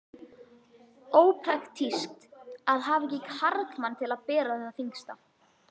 Ópraktískt að hafa ekki karlmann til að bera það þyngsta.